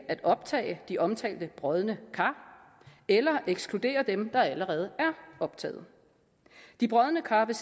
at optage de omtalte brodne kar eller ekskludere dem der allerede er optaget de brodne kar vil